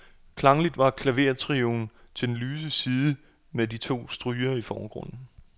Klangligt var klavertrioen til den lyse side med de to strygere i forgrunden.